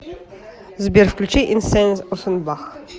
сбер включи инсейн офенбах